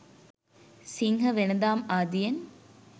සිංහ වෙළෙඳාම් ආදියෙන්